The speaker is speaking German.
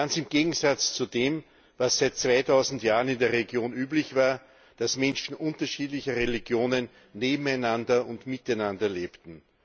Ganz im Gegensatz zu dem, was seit 2000 Jahren in der Region üblich war, dass Menschen unterschiedlicher Religionen nebeneinander und miteinander lebten.